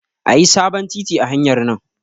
Ayi sabon titi a hanyar nan